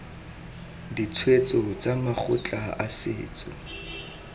ditshwetso tsa makgotla a setso